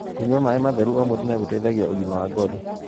kũnyua maĩ matheru o mũthenya gũteithagia ũgima wa ngothi